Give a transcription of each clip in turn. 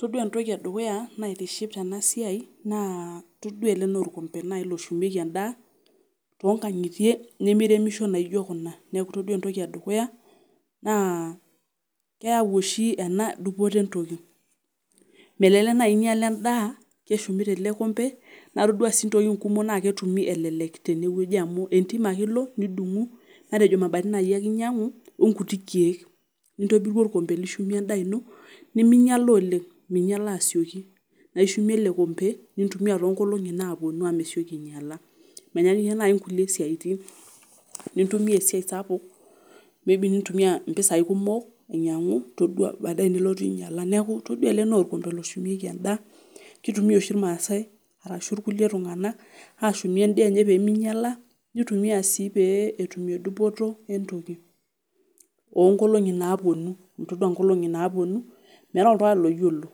Todua entoki edukuya naitiship tena siai naa ele naa olkombe naai loshumeiki endaa toonkankitie nimiremisho naijo kuna, neeku todua entoki edukuya naa keyau oshi ena dupoto entoki, melelek naai inyial endaa keshumi tele kombe naa todu sii intokitin kumok ketumi elelek tenewoji amu entim ake ilo nidungu, matejo imabatini ake naai ake inyiangu onguti keek nintobiru olkombe lishumie endaa ino niminyial oleng', minyiala asioki ishumie ele kombe nintumiya toonkolongi naaponu naa mesioki anyiala, menyaanyukie naayi inkulie saitin, nintumia esiai sapuk nintumiya iropiyiani kumok ainyiangu ore baadaye nelotu ainyiala. Todua ele naa olkombe loshumeiki endaa kutumiya oshi olmaasai ashu kulie tunganak naa ashumie endaa enye peeminyiala peetumie dupoto oonkolongi naaponu amu todua inkongi naaponu meeta oltungani loyiolo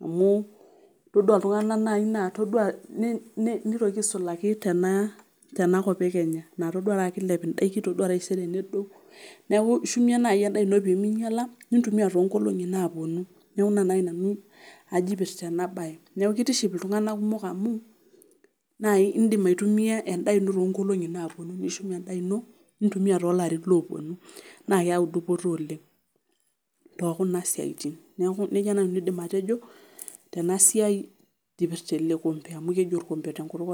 amu nitoki aisulaki tenakop eikinga naa todua taata kiilep indaikin ore taisere nedou, Neeku ishumie naa endaa ino peeminyiala nintumiya toonkolongi naaponu, neeku ina naai pajito kiship ena bae, kitiship iltunganak kumok amu indim aitumiya endaa ino toonkolongi napuonu nishumie endaa ino nintumiya toolarin ooponu. Neeku nejia aidim nanu atejo tekuna siatin tena siai kipirta ele kombe, amu keji olkombe tenkutuk olmaasai.